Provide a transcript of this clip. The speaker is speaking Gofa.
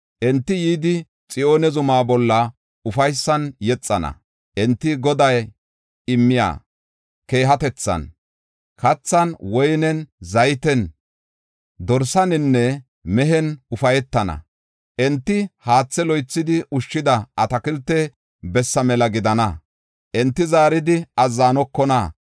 Enti yidi Xiyoone zuma bolla ufaysan yexana; enti, Goday immiya keehatethan, kathan, woynen, zayten, dorsaninne mehen ufaytana. Enti haathe loythidi ushshida atakilte bessa mela gidana; enti zaaridi azzanokona.